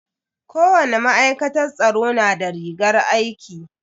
Kowani ma'aikatar tsaro na da rigar aiki.